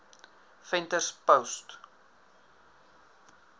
venterspost